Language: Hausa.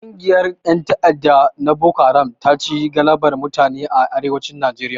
Kungiyar ƴan ta'adda na boko haram taci galabar mutane a Arewacin Nijeriya